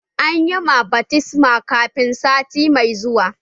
A yi ma baftisma kafin sati mai zuwa!